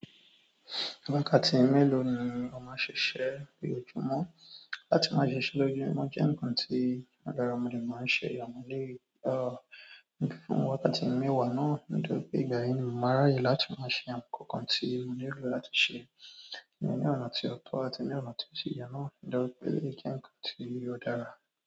Wákàtí mélòó ni o máa n ṣiṣẹ́ ni ojúmọ́? Láti máa ṣiṣẹ́ lójúmọ́ jẹ́ ǹkan tí ó dára, mo dẹ̀ máa n ṣe àwọn eléyìí, wákàtí mẹ́wàá náà, ó dà pé ìgbà yẹn ni mo màá ráyè láti máa ṣe àwọn ǹkan tí mo nílò láti ṣe, ní ní ọ̀nà tí ó tọ́ àti ní ọ̀nà tí ó sì yẹ náà, eléyìí jẹ́ ǹkan tí ó dára.